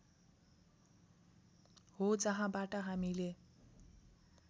हो जहाँबाट हामीले